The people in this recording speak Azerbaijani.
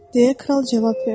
deyə kral cavab verdi.